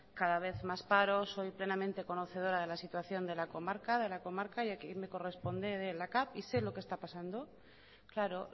cada vez más paro soy plenamente conocedora de la situación de la comarca de la comarca que a mi me corresponde la cav y sé lo que está pasando claro